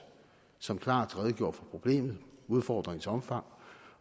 som klart redegjorde for problemet og udfordringens omfang